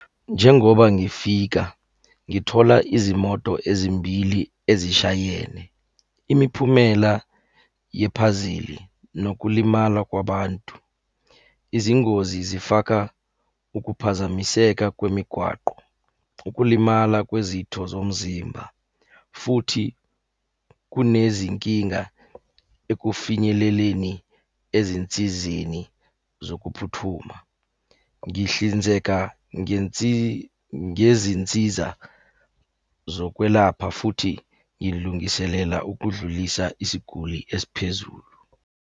Njengoba ngifika, ngithola izimoto ezimbili ezishayene. Imiphumela yephazili, nokulimala kwabantu. Izingozi zifaka ukuphazamiseka kwemigwaqo, ukulimala kwezitho zomzimba, futhi kunezinkinga ekufinyeleleni ezinsizeni zokuphuthuma. Ngihlinzeka ngezinsiza zokwelapha, futhi ngilungiselela ukudlulisa isiguli esiphezulu.